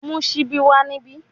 Mu sibi wa nibi